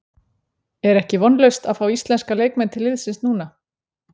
Er ekki vonlaust að fá íslenska leikmenn til liðsins núna?